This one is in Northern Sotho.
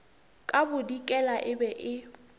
ka bodikela e be e